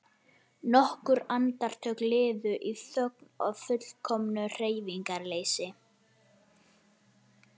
Nokkur andartök liðu í þögn og fullkomnu hreyfingarleysi.